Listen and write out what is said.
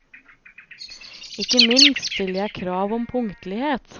Ikke minst stiller jeg krav om punktlighet.